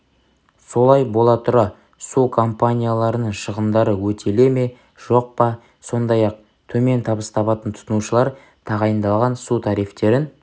солай бола тұра су компанияларының шығындары өтеле ме жоқ па сондай-ақ төмен табыс табатын тұтынушылар тағайындалған су тарифтерін